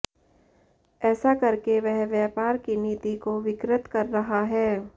ऐसा करके वह व्यापार की नीति को विकृत कर रहा है